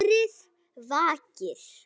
Hatrið vakir.